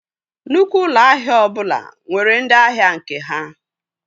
Nnukwu ụlọ ahịa ọbụla nwere ndị ahịa nke ha